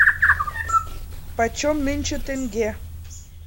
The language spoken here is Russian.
почем нынче тенге